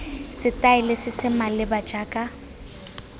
setaele se se maleba jaaka